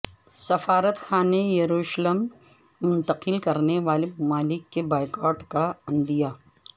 سفارت خانے یروشلم منتقل کرنے والے ممالک کے بائیکاٹ کا عندیہ